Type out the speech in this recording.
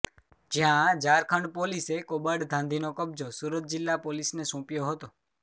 જ્યાં ઝારખંડ પોલીસે કોબાડ ઘાંધીનો કબ્જો સુરત જિલ્લા પોલીસને સોંપ્યો હતો